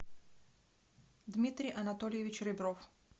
дмитрий анатольевич ребров